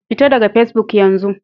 Fita daga Fesbuk yanzu!